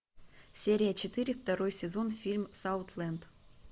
серия четыре второй сезон фильм саутленд